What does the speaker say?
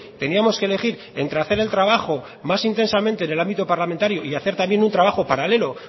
teníamos que elegir entre hacer el trabajo más intensamente en el ámbito parlamentario y hacer también un trabajo paralelo